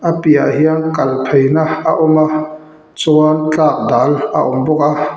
a piahah hian kal pheina a awm a chuan tlak dal a awm bawk a.